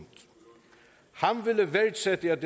han ville værdsætte at